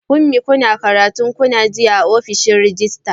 Funmi, kunna karatun ku na jiya a ofishin rejista.